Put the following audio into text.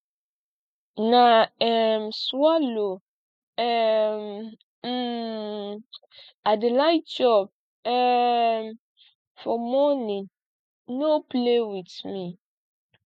na um swallow um um i dey like chop um for morning no play with me